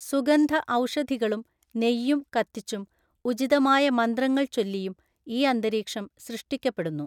സുഗന്ധ ഔഷധികളും നെയ്യും കത്തിച്ചും ഉചിതമായ മന്ത്രങ്ങൾ ചൊല്ലിയും ഈ അന്തരീക്ഷം സൃഷ്ടിക്കപ്പെടുന്നു.